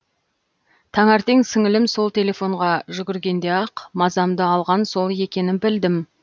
таңертең сіңілім сол телефонға жүгіргенде ақ мазамды алған сол екенін білдім